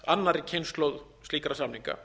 annarri kynslóð slíkra samninga